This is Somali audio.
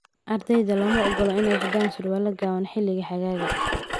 Ardayda looma ogola inay xidhaan surwaal gaaban xilliga xagaaga.